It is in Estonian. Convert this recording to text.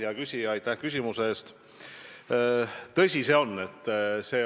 Hea küsija, aitäh küsimuse eest!